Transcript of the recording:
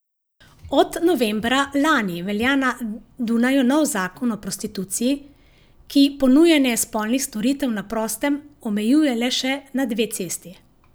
Od novembra lani velja na Dunaju nov zakon o prostituciji, ki ponujanje spolnih storitev na prostem omejuje le še na dve cesti.